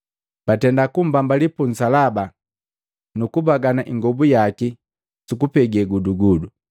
Batenda kumbambali pu nsalaba, nukubagana ingobu yaki sukugapege gudugudu.